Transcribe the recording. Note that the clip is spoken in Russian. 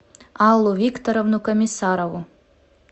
аллу викторовну комиссарову